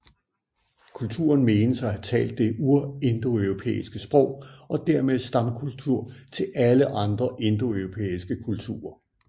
Kulturen menes at have talt det urindoeuropæiske sprog og dermed stamkultur til alle andre indoeuropæiske kulturer